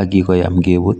ak kokoyam keput.